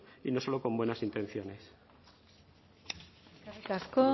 y no solo con buenas intenciones eskerrik asko